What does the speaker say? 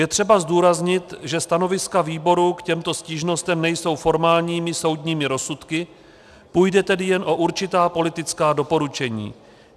Je třeba zdůraznit, že stanoviska výboru k těmto stížnostem nejsou formálními soudními rozsudky, půjde tedy jen o určitá politická doporučení.